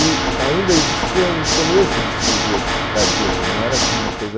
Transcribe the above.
E ainda existia um começo de cirurgias cardíacas, não era assim uma coisa